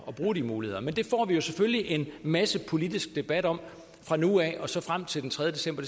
bruge de muligheder men det får vi selvfølgelig en masse politisk debat om fra nu af og så frem til den tredje december